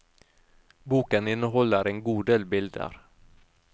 Boken inneholder en god del bilder.